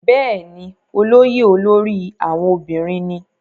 bẹ́ẹ̀ni, olóyè olórí àwọn obìnrin ní